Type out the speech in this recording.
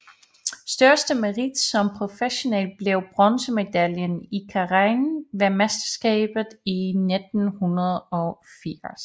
Største merit som professionel blev bronzemedaljen i keirin ved verdensmesterskab 1980